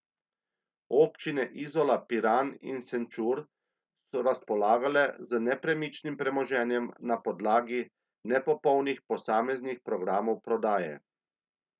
Občine Izola, Piran in Šenčur so razpolagale z nepremičnim premoženjem na podlagi nepopolnih posameznih programov prodaje.